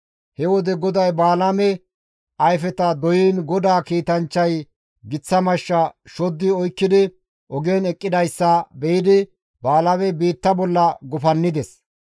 He wode GODAY Balaame ayfeta doyiin GODAA kiitanchchay giththa mashsha shoddi oykkidi ogen eqqidayssa be7idi Balaamey biitta bolla gufannides.